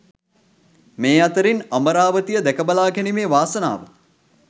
මේ අතරින් අමරාවතිය දැක බලාගැනීමේ වාසනාව